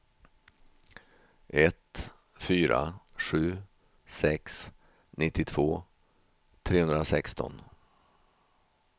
ett fyra sju sex nittiotvå trehundrasexton